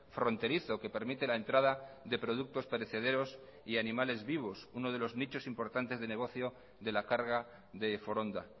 fronterizo que permite la entrada de productos perecederos y animales vivos uno de los nichos importantes de negocio de la carga de foronda